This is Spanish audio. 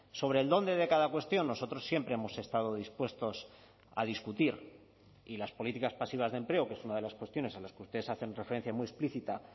sobre el dónde de cada cuestión nosotros siempre hemos estado dispuestos a discutir y las políticas pasivas de empleo que es una de las cuestiones a las que ustedes hacen referencia muy explícita